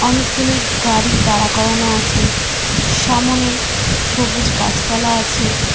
অনেকগুলি গাড়ি দাঁড়া করানো আছে সামোনে সবুজ গাছপালা আছে।